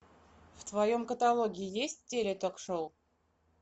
в твоем каталоге есть теле ток шоу